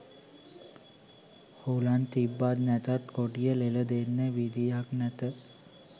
හුලන් තිබ්බත් නැතත් කොඩිය ලෙල දෙන්න විදිහක් නැත